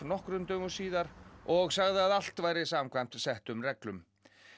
nokkrum dögum síðar og sagði að allt væri samkvæmt settum reglum